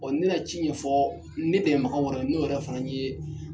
Ɔɔ n'u ye ci ɲɛfɔ ne dɛmɛbaga wɛrɛ ye, n'o yɛrɛ fana ye